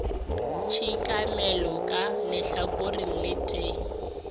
tshekamelo ka lehlakoreng le tee